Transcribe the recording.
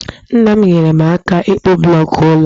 Nna m nyeere m aka ịkpụ blọọkụ ụlọ a